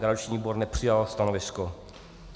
Garanční výbor nepřijal stanovisko.